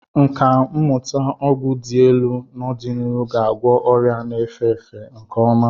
Nkà mmụta ọgwụ dị elu n'ọdịnihu ga-agwọ ọrịa na-efe efe nke ọma.